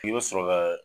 K'i bɛ sɔrɔ ka